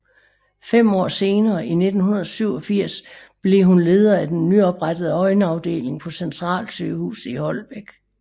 Fem år senere i 1987 blev hun leder af den nyoprettede øjenafdeling på Centralsygehuset i Holbæk